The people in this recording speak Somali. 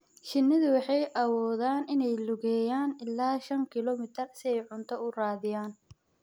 Shinnidu waxay awoodaan inay lugeeyaan ilaa shan kiiloomitir si ay cunto u raadiyaan.